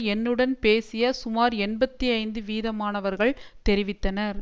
என்னுடன் பேசிய சுமார் எண்பத்தி ஐந்து வீதமானவர்கள் தெரிவித்தனர்